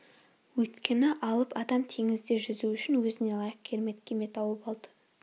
өйткені алып адам теңізде жүзу үшін өзіне лайық керемет кеме тауып алды